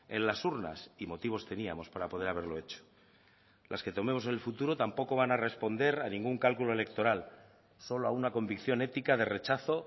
en las urnas y motivos teníamos para poder haberlo hecho las que tomemos en el futuro tampoco van a responder a ningún cálculo electoral solo a una convicción ética de rechazo